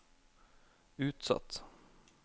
utsatt